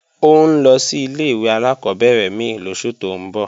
Ó ń lọ sí ilé-ìwé alákọ́bẹ̀rẹ̀ mí lóṣù tó ń bọ̀